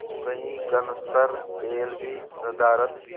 तो कई कनस्तर तेल भी नदारत